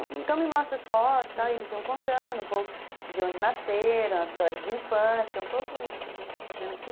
Então, me mostra as fotos, eles iam contando um pouco de onde nasceram, as histórias de infância, um pouco isso que a gente está fazendo aqui.